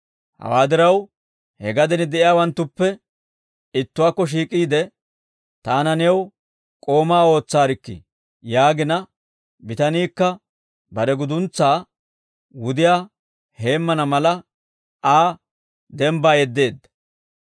Hawaa diraw he gaden de'iyaawanttuppe ittuwaakko shiik'iide, ‹Taana new k'oomaa ootsaarikkii?› yaagina, bitaniikka bare guduntsaa wudiyaa heemmana mala Aa dembbaa yeddeedda.